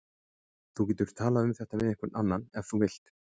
Þú getur talað um þetta við einhvern annan ef þú vilt.